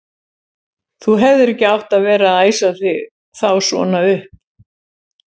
Þú hefðir ekki átt að vera að æsa þá svona upp!